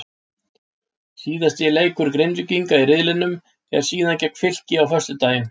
Síðasti leikur Grindvíkinga í riðlinum er síðan gegn Fylki á föstudaginn.